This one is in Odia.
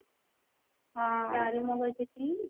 ଚାରୁ ମଗଜ ଟି?